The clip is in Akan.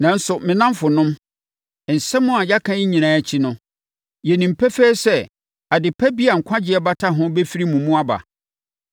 Nanso, me nnamfonom, nsɛm a yɛaka yi nyinaa akyi no, yɛnim pefee sɛ ade pa bi a nkwagyeɛ bata ho bɛfiri mo mu aba.